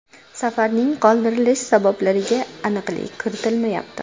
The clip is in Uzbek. Safarning qoldirilish sabablariga aniqlik kiritilmayapti.